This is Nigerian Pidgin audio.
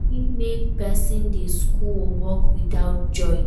E fit make persin de school or work without joy